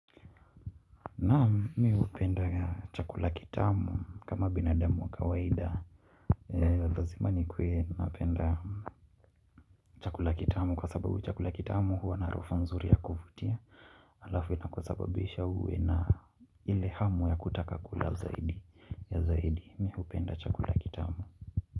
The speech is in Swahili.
Naam mimi hupenda chakula kitamu kama binadamu wa kawaida lazima nikuwe napenda chakula kitamu kwa sababu chakula kitamu huwa na harufu nzuri ya kuvutia alafu inakusababisha uwe na ile hamu ya kutaka kula zaidi ya zaidi mimi hupenda chakula kitamu.